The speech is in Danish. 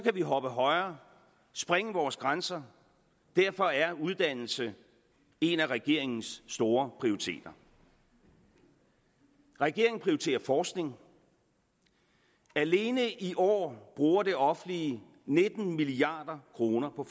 vi hoppe højere og sprænge vores grænser derfor er uddannelse en af regeringens store prioriteter regeringen prioriteter forskning alene i år bruger det offentlige nitten milliard kroner på